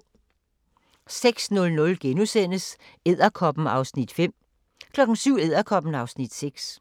06:00: Edderkoppen (Afs. 5)* 07:00: Edderkoppen (Afs. 6)